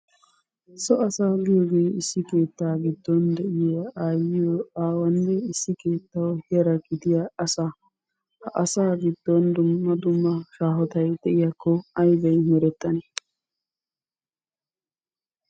So asaa giyogee issi keettaa giddon de'iya aayiyo, aawaanne issi keettawu yara gidiya asaa, ha asaa giddon dumma dumma shahottay de'iyakko aybay merettanne?